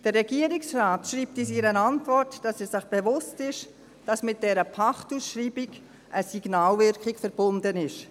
Der Regierungsrat schreibt in seiner Antwort, er sei sich bewusst, dass mit dieser Pachtausschreibung eine Signalwirkung verbunden sei.